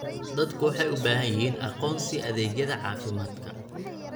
Dadku waxay u baahan yihiin aqoonsi adeegyada caafimaadka.